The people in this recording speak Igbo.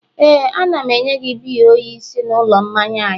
Éè, a na m enye gị biya oyi si n'ụlọ mmanya anyị